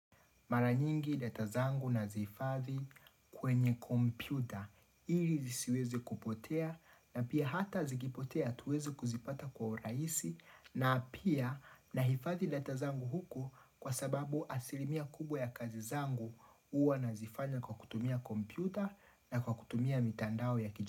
Mara nyingi data zangu nazihifadhi kwenye kompyuta ili zisiweze kupotea na pia hata zikipotea tuweze kuzipata kwa urahisi na pia nahifadhi data zangu huko kwa sababu asilimia kubwa ya kazi zangu huwa nazifanya kwa kutumia kompyuta na kwa kutumia mitandao ya kiju.